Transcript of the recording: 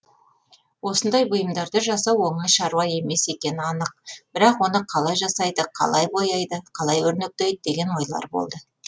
осындай бұйымдарды жасау оңай шаруа емес екені анық бірақ оны қалай жасайды қалай бояйды қалай өрнектейді деген ойлар болды